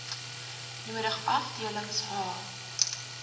nodig afdelings h